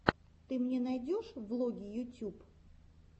ты мне найдешь влоги ютюб